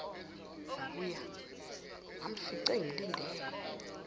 ngakuye ngamfica engilindele